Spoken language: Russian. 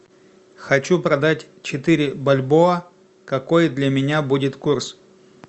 хочу продать четыре бальбоа какой для меня будет курс